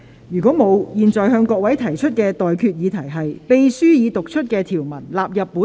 如果沒有，我現在向各位提出的待決議題是：秘書已讀出的條文納入本條例草案。